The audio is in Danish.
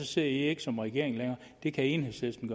sidder i ikke som regering længere det kan enhedslisten